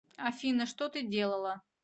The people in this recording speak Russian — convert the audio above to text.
афина что ты делала